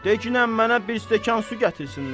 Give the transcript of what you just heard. De ginən mənə bir stəkan su gətirsinlər.